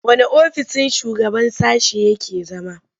Wanne ofissin shugaban sashe yake zama?